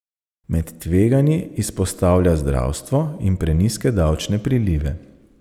Med tveganji izpostavlja zdravstvo in prenizke davčne prilive.